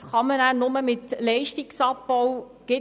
Dies kann nur mit Leistungsabbau kompensiert werden.